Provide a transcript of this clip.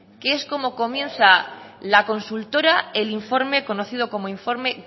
que es como comienza la consultora el informe conocido como informe